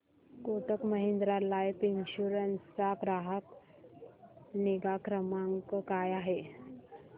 Kotak Mahindra life insurance चा ग्राहक निगा क्रमांक काय आहे